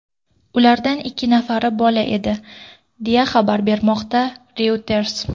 Ulardan ikki nafari bola edi, deya xabar bermoqda Reuters.